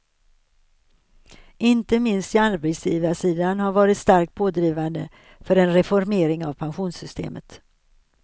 Inte minst arbetsgivarsidan har varit starkt pådrivande för en reformering av pensionssystemet.